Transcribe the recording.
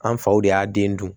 An faw de y'a den dun